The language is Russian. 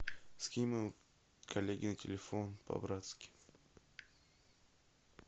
скинь моему коллеге на телефон по братски